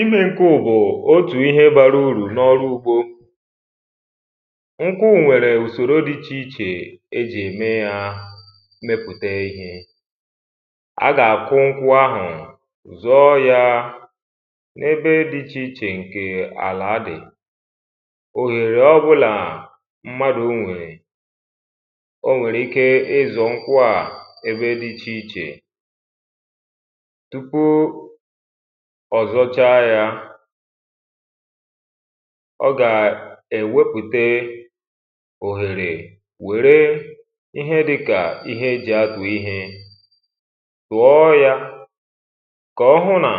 imē nkwu bù otù ihe bara urù na ọrụ ugbō nkwu nwèrè ùsòrò dị ichè ichè ejì ème ya mepùteē ihe a gà àkwu nkwu ahụ̀ zụọ yā ebe dị̄ iʧè iʧè ǹkè àla dị̀ òhère ọbụlà mmadụ̀ nwèrè o nwèrè ikē ịzụ̀ nkwụ a ebe dị ichè ichè tupu ọzọ̀cha yā ọ gà èwepùte òhèrè wère ihe dịkà ihe ejì atụ̀ ihē ghọọ yā ka ọhụụ̄ nà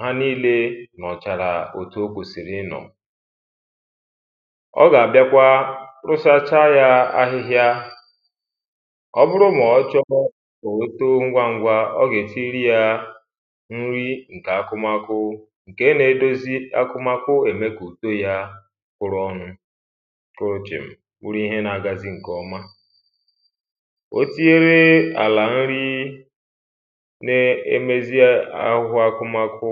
ha níílē nọ̀chàrà otù okwèsìrì ịnọ̀ ọ gà àbịa kwa posachaā ya ahịhịa ọ bụrụ mà ọchọ̄ otōō ngwā ngwa ọ gà ètiri ya nri ǹkè akụmakụ ǹke na edozi akụmakụ emeē kà ùto ya kwuru ọnụ̄ kojòm bụrụ ihe na àgazi ǹkè ọma otinyere àlà nri ne emeziē akwukwo akụmakụ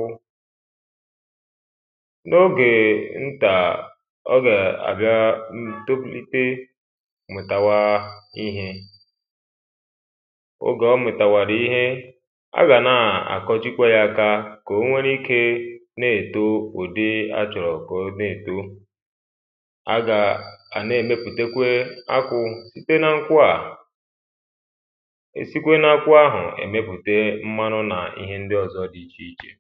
n'ogè ntà ọ gà àbịa tokwùlite wètawa ihē og̀e omìtàwàrà ihe a gà na àkọjikwa jā aka kà onwe ikē na èto ùdi achọrọ̀ kà ọ̀ n‘èto a gà n'èmepùte kwa akwụ sìte na nkwu à è sikwe na nkwu ahụ̀ èmepùte kwa mmanụ nà ihe ndị ọzọ̄ dị ichè ichè